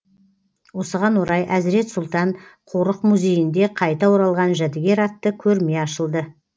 осыған орай әзірет сұлтан қорық музейінде қайта оралған жәдігер атты көрме ашылды